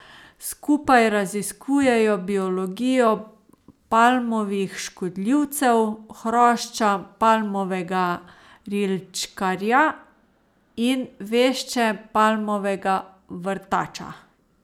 Skupaj raziskujejo biologijo palmovih škodljivcev, hrošča palmovega rilčkarja in vešče palmovega vrtača.